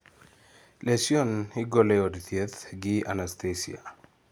Lesion igolo ei od thieth gi anasthesia